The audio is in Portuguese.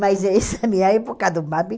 Mas essa é a minha época do.